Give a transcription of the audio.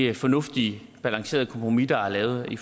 det fornuftige balancerede kompromis der er lavet i